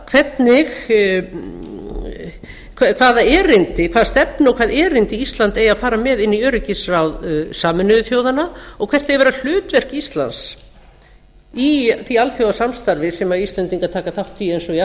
hvernig við ætlum að bregðast við heldur líka hvaða erindi ísland eigi að fara með inn í öryggisráð sameinuðu þjóðanna og hvert eigi að vera hlutverk íslands í því alþjóðasamstarfi sem íslendingar taka þátt í eins